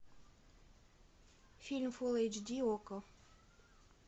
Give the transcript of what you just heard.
фильм фулл эйч ди окко